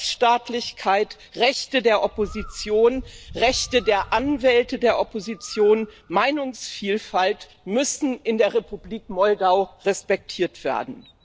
Rechtsstaatlichkeit, Rechte der Opposition, Rechte der Anwälte der Opposition, Meinungsvielfalt müssen in der Republik Moldau respektiert werden.